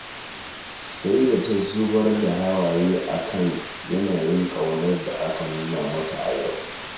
Sai da ta zubar da hawaye a kan yanayin ƙaunar da aka nuna mata a yau